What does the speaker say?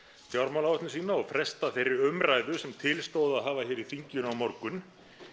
frjámálaáætlun sína og fresta þeirri umræðu sem til stóð að hafa hér í þinginu á morgun